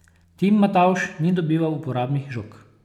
Tim Matavž ni dobival uporabnih žog.